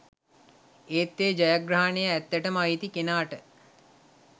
ඒත් ඒ ජයග්‍රහණය ඇත්තටම අයිති කෙනාට